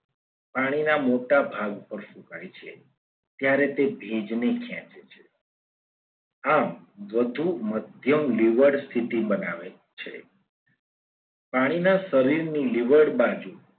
પાણીના મોટા ભાગ પર સુકાય છે. ત્યારે તે ભેજને ખેંચે છે. આમ વધુ મધ્યમ લેવડ સ્થિતિ બનાવે છે. પાણીના શરીરની લેવડ બાજુ